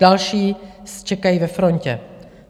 Další čekají ve frontě.